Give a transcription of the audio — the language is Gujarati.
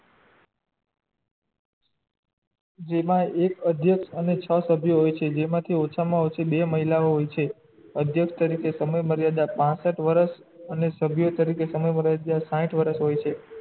જેમાં એક અધ્યક્ષ અને છ સભ્ય છે જેમાં થી ઓછા મા ઓછા બે મહિલાઓ હોય છે અધ્યક્ષ તરીકે સમય મર્યાદા પાશટ વર્ષ અને સભ્ય તરીકે તમારો સમય મર્યાદા સાઠ વર્ષ હોય છે